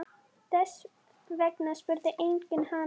Þess vegna spurði enginn hana.